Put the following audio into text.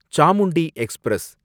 Chamundi express